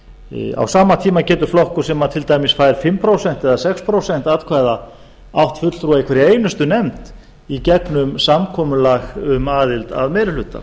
sveitarstjórninni á sama tíma getur flokkur sem til dæmis fær fimm prósent eða sex prósent atkvæða átt fulltrúa í hverri einustu nefnd í gegnum samkomulag um aðild að meiri hluta